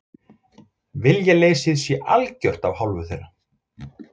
Viljaleysið sé algjört af hálfu þeirra